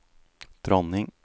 dronning